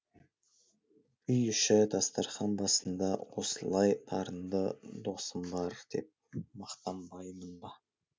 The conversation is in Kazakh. үй іші дастарқан басында осылай дарынды досым бар деп мақтанбаймын ба